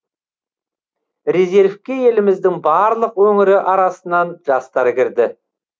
резервке еліміздің барлық өңірі арасынан жастар кірді